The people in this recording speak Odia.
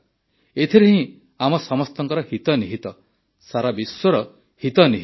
ଏଥିରେ ହିଁ ଆମ ସମସ୍ତଙ୍କ ହିତ ନିହିତ ସାରାବିଶ୍ୱର ହିତ ନିହିତ